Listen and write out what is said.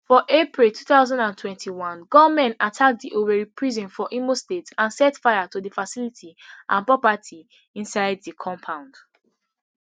for april two thousand and twenty-one gunmen attack di owerri prison for imo state and set fire to di facility and property inside di compound